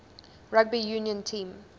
rugby union team